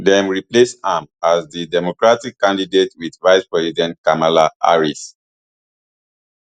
dem replace am as di democratic candidate wit vicepresident kamala harris